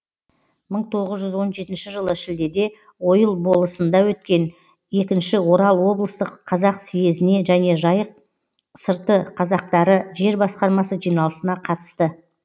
мың тоғыз жүз он жетінші жылы шілдеде ойыл болысында өткен екінші орал облыстық қазақ съезіне және жайық сырты қазақтары жер басқармасы жиналысына қатысты